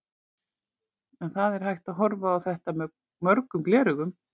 En það er hægt að horfa á þetta með mörgum gleraugum.